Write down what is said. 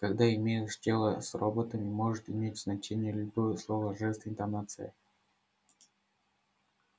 когда имеешь дело с роботами может иметь значение любое слово жест интонация